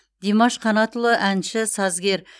димаш қанатұлы әнші сазгер